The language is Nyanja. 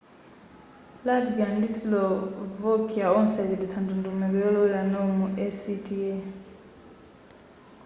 latvia ndi slovakia onse achedwetsa ndondomeko yolowera nawo mu acta